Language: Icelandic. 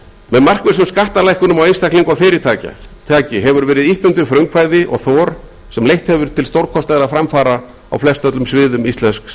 með markvissum skattalækkunum á einstaklinga og fyrirtæki hefur verið ýtt undir frumkvæði og þor sem hefur leitt til stórkostlegra framfara á flestöllum sviðum íslensks